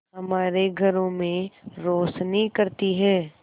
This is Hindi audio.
हमारे घरों में रोशनी करती है